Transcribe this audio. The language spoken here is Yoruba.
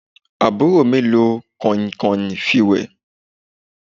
Àbúrò mi lo kànìnkànìn fi wé